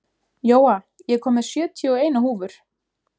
Jóa, ég kom með sjötíu og eina húfur!